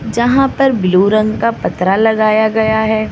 जहां पर ब्लू रंग का पत्रा लगाया गया है।